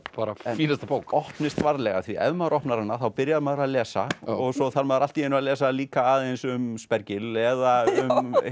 fínasta bók en opnist varlega því ef maður opnar hana þá byrjar maður að lesa og svo þarf maður allt í einu að lesa líka aðeins um eða um